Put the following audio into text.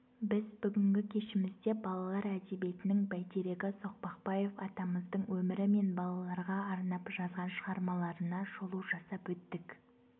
біз бүгінгі кешімізде балалар әдебиетінің бәйтерегі соқпақбаев атамыздың өмірі мен балаларға арнап жазған шығармаларына шолу жасап өттік